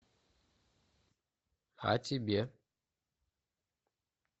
а тебе